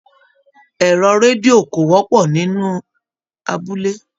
Ẹrọ redio ko wọpọ nínú abúlé.